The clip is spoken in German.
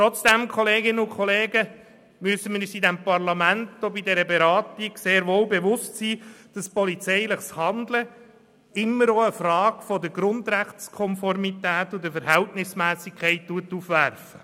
Trotzdem müssen wir uns in diesem Parlament auch bei dieser Beratung sehr wohl bewusst sein, dass polizeiliches Handeln immer auch Fragen der Grundrechtskonformität und der Verhältnismässigkeit aufwirft.